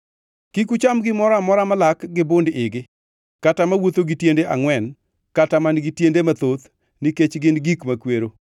Kik ucham gimoro amora malak gi bund-igi kata mawuotho gi tiende angʼwen kata man-gi tiende mathoth nikech gin gik makwero.